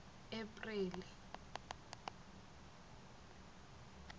apreli